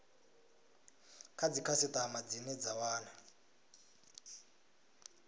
kha dzikhasitama dzine dza wana